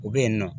U bɛ yen nɔ